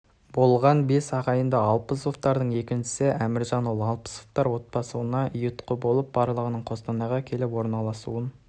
болған бес ағайынды алпысовтардың екіншісі әміржан ол алпысовтар отбасыларына ұйытқы болып барлығының қостанайға келіп орналасуын